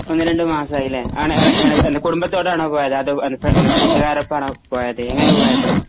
ഒന്നുരണ്ടുമാസമയല്ലേ ആണ് ആണ് ആണ് കുടുബത്തോടാണോ പോയത് അതോ ഫ്ര കുട്ടുകാരോടപ്പമാണോ പോയത് എങ്ങനാ പോയത്.